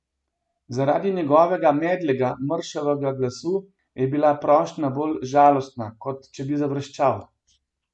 Zaradi njegovega medlega, mršavega glasu je bila prošnja bolj žalostna, kot če bi zavreščal.